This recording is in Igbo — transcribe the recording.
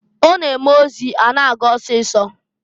Ọ na-eme ozi a na-aga ọsịịsọ.